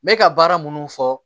N bɛ ka baara minnu fɔ